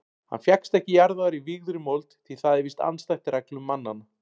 Hann fékkst ekki jarðaður í vígðri mold því það er víst andstætt reglum mannanna.